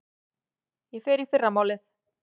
Ég fer í fyrramálið.